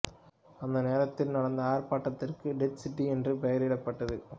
அந்த நேரத்தில் நடந்த ஆர்ப்பாட்டத்திற்கு டெட் சிட்டி என்று பெயரிடப்பட்டது